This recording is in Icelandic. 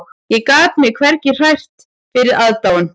Ég gat mig hvergi hrært fyrir aðdáun